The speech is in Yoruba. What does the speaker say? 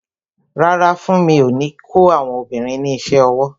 Rárá, funmi o ní kó àwọn obìnrin ní isẹ ọwọ́